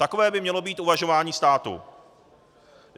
Takové by mělo být uvažování státu.